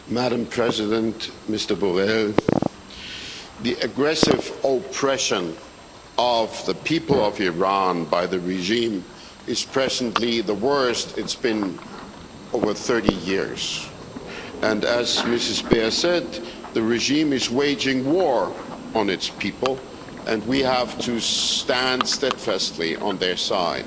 Madam President, Mr Borrell, the aggressive oppression of the people of Iran by the regime is presently the worst it's been in over 30 years, and, as Ms Beer said, the regime is waging war on its people and we have to stand steadfastly on their side